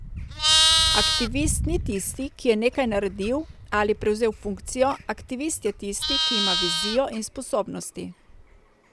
Aktivist ni tisti, ki je nekaj naredil ali prevzel funkcijo, aktivist je tisti, ki ima vizijo in sposobnosti.